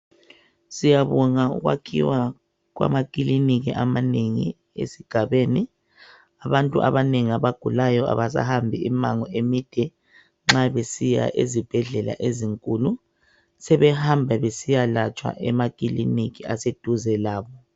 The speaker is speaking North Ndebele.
Siyabonga ukwakhiwa kwamakliniki amanengi esigabeni. Abantu abanengi abagulayo abasahambi imango emide nxa besiya ezibhedlela ezinkulu. Sebehamba besiyalatshwa emakiliniki aseduze labo.